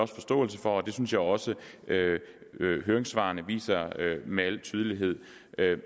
forståelse for og det synes jeg også høringssvarene viser med al tydelighed